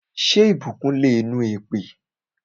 Ṣé ìbùkún le nu èpè?